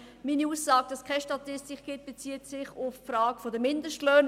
Meine Aussage, dass es keine Statistik gibt, bezieht sich auf die Frage der Mindestlöhne.